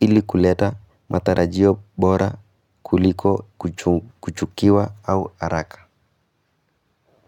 ili kuleta matarajio bora kuliko kuchu kuchukiwa au haraka.